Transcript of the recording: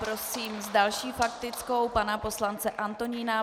Prosím s další faktickou pana poslance Antonína.